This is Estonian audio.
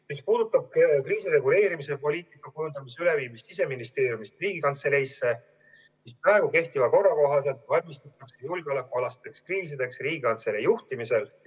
Mis puudutab kriisireguleerimise poliitika kujundamise üleviimist Siseministeeriumist Riigikantseleisse, siis praegu kehtiva korra kohaselt valmistutakse julgeolekualasteks kriisideks Riigikantselei juhtimisel.